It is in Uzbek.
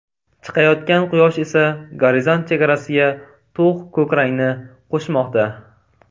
Chiqayotgan Quyosh esa gorizont chegarasiga to‘q ko‘k rangni qo‘shmoqda.